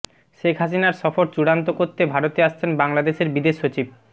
শেখ হাসিনার সফর চূড়ান্ত করতে ভারতে আসছেন বাংলাদেশের বিদেশ সচিব